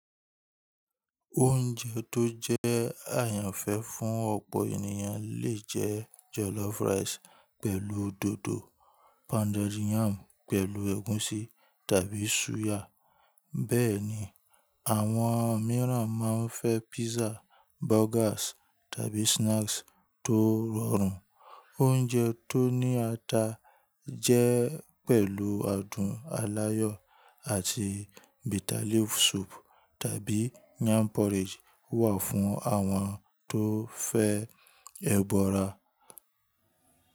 Oúnjẹ tó jẹ́ àyànfẹ́ fún ọ̀pọ̀ ènìyàn lè jẹ́ jollof rice pẹ̀lú dòdò, pounded yam pẹ̀lú egusi tàbí suya. Bẹ́ẹ̀ ni, àwọn mìíràn máa ń fẹ́ pizza, burgers tàbí snacks tó rọrùn. Oúnjẹ tó ní ata jẹ́ pẹ̀lú adùn aláyọ̀ àti bitterleaf soup tàbí yam porridge wà fún àwọn tó fẹ́ ẹgbọra.